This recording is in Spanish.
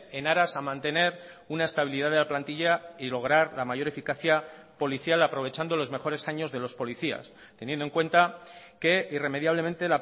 en aras a mantener una estabilidad de la plantilla y lograr la mayor eficacia policial aprovechando los mejores años de los policías teniendo en cuenta que irremediablemente